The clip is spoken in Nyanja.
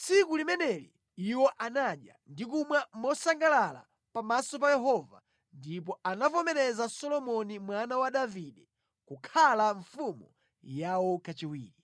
Tsiku limeneli, iwo anadya ndi kumwa mosangalala pamaso pa Yehova ndipo anavomereza Solomoni mwana wa Davide kukhala mfumu yawo kachiwiri.